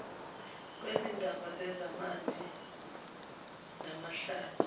wezindaba zezamanzi namahlathi